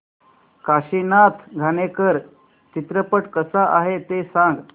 काशीनाथ घाणेकर चित्रपट कसा आहे ते सांग